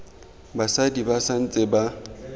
basadi ba sa ntse ba